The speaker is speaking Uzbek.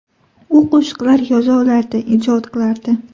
U qo‘shiqlar yoza olardi, ijod qilardi.